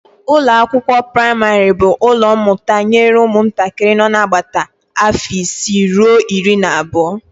Ụlọakwụkwọ praịmarị bụ ụlọ mmụta nye ụmụntakịrị nọ n'agbata afọ isii ruo iri na abụọ